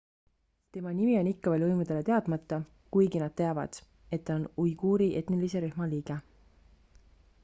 tema nimi on ikka veel võimudele teadmata kuigi nad teavad et ta on uiguuri etnilise rühma liige